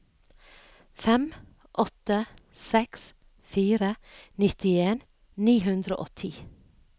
fem åtte seks fire nittien ni hundre og ti